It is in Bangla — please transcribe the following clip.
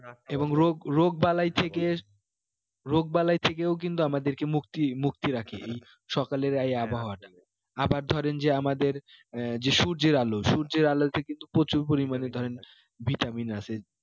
এবং রোগ রোগ বালাই থেকে রোগ বালাই থেকেও কিন্তু আমাদেরকে মুক্তি মুক্ত রাখে এই সকালের এই আবহাওয়াটা আবার ধরেন যে আমাদের আহ যে সূর্যের আলো সূর্যের আলোতে কিন্তু প্রচুর পরিমানে ধরেন vitamin আছে